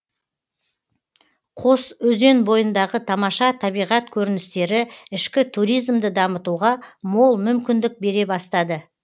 қос өзен бойындағы тамаша табиғат көріністері ішкі туризмді дамытуға мол мүмкіндік бере бастады